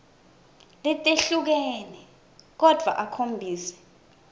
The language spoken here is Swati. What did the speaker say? letehlukene kodvwa akhombise